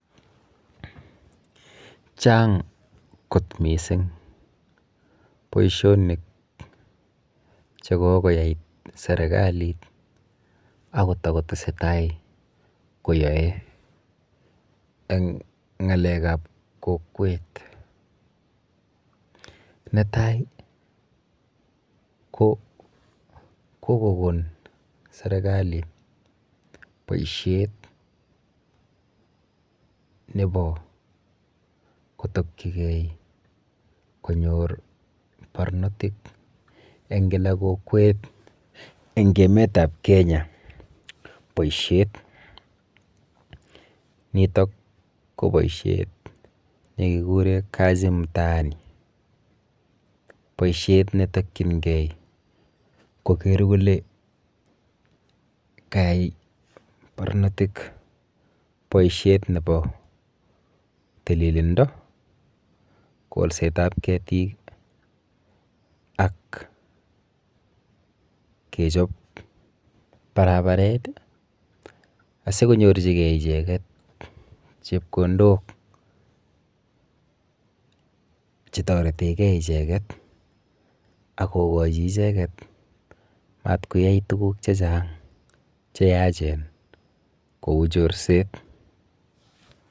Chang kot missing boishonik chekokoyai serikalit akotokotesetai koyoei eng ng'alek ap kokwet netai ko koko kon serikalit boishet nebo kotokchigei konyor barnotik eng kila kokwet eng emet ap Kenya boishet nitok ko boishet nekikuren kazi mtaani boishet netokchingei koker kole kayai barnotik boishet nebo tililindo kolset ap ketit ak kechop barabaret asikonyorchikei icheket chepkondok chetoretegei icheket akokochin icheket matkoyai tukuk chechang cheyachen kou chorset.